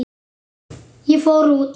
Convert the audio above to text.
Ég fór út.